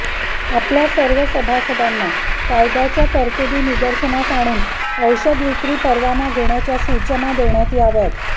आपल्या सर्व सभासदांना कायद्याच्या तरतुदी निदर्शनास आणून औषध विक्री परवाना घेण्याच्या सूचना देण्यात याव्यात